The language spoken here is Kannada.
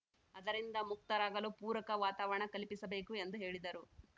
ಅದರಿಂದ ಮುಕ್ತರಾಗಲು ಪೂರಕ ವಾತಾವರಣ ಕಲ್ಪಿಸಬೇಕು ಎಂದು ಹೇಳಿದರು